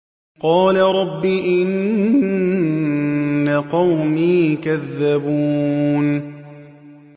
قَالَ رَبِّ إِنَّ قَوْمِي كَذَّبُونِ